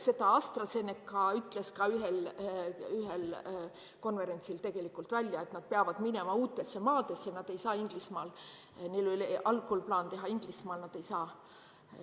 Seda AstraZeneca ütles ühel konverentsil tegelikult välja, et nad peavad minema uutesse maadesse, nad ei saa Inglismaal, neil oli algul plaan teha seda Inglismaal, aga nad ei saa.